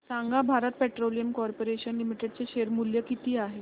सांगा Bharat petroleum corporation limited चे share मूल्य किती आहे